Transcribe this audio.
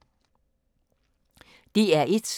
DR1